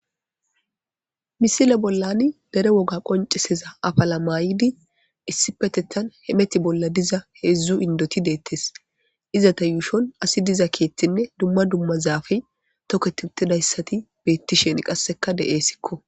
misile bollan dere woga qoncisiza afala maayidi issipetethan hemeti bolla diza heedzdzu indoti deettes. iza ta yuushon asi diza keettinne dumma dumma zaafe toketutidayssati beettishen qasseka de'eessikko.